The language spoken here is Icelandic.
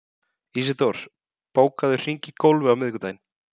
Ísidór, bókaðu hring í golf á miðvikudaginn.